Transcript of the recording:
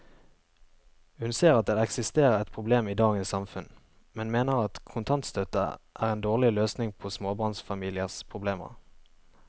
Hun ser at det eksisterer et problem i dagens samfunn, men mener at kontantstøtte er en dårlig løsning på småbarnsfamiliers problemer.